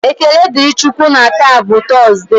Ekele dịrị Chị Ukwu na taa bụ Tọọsde.